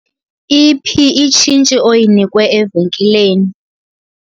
Iphi itshintshi oyinikwe evenkileni?